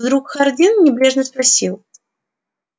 вдруг хардин небрежно спросил